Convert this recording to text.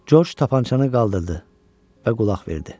George tapançanı qaldırdı və qulaq verdi.